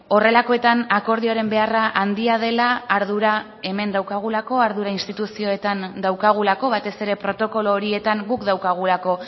horrelakoetan akordioaren beharra handia dela ardura hemen daukagulako ardura instituzioetan daukagulako batez ere protokolo horietan guk daukagulako